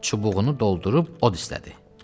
və çubuğunu doldurub od istədi.